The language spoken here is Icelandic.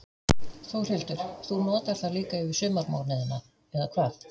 Þórhildur: Þú notar það líka yfir sumarmánuðina, eða hvað?